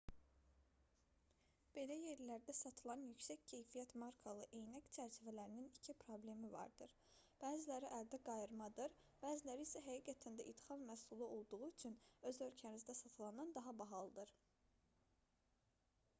belə yerlərdə satılan yüksək keyfiyyət markalı eynək çərçivələrinin iki problemi vardır bəziləri əldə qayırmadır bəziləri isə həqiqətən də idxal məhsul olduğu üçün öz ölkənizdə satılandan daha bahalıdır